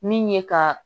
Min ye ka